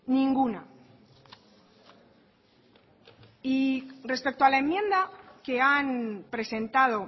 ninguna y respecto a la enmienda que han presentado